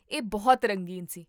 ਇਹ ਬਹੁਤ ਰੰਗੀਨ ਸੀ